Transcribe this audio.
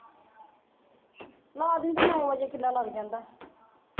ਨੌਂ ਵਜੇ ਕਿੱਡੇ ਲੱਗ ਜਾਂਦਾ